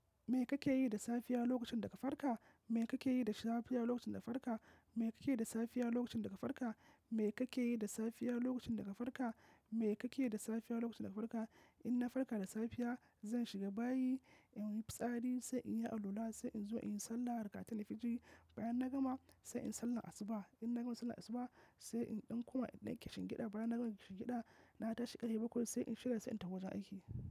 Me kake yi da safiya lokacin da ka farka? Me kake yi da safiya lokacin da ka farka? Me kake yi da safiya lokacin da ka farka? Me kake yi da safiya lokacin da ka farka? Me kake yi da safiya lokacin da ka farka? In na farka da safiya, zan shiga bayi in yi fitsari, sai in yi alwala, sai in zo in yi sallah, rakatainil fajr. Bayan na gama sai in yi sallar asuba. In na gama sallar asuba sai in ɗan koma in dan kishingida. Bayan na gama kishingida na tashi ƙarhe bakwai sai in shiga sai in tafi wajen aiki.